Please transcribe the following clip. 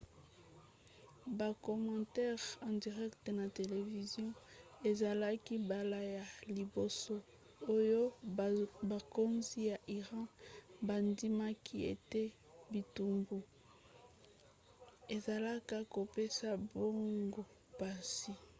bakomantere en direct na televizio ezalaki mbala ya liboso oyo bakonzi ya iran bandimaki ete bitumbu ezalaka kopesa bango mpasi